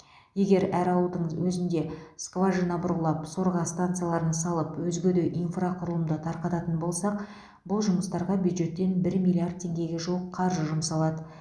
егер әр ауылдың өзінде скважина бұрғылап сорға станцияларын салып өзге де инфрақұрылымды тартатын болсақ бұл жұмыстарға бюджеттен бір миллиард теңгеге жуық қаржы жұмсалады